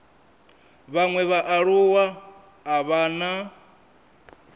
vhaṅwe vhaaluwa a vha na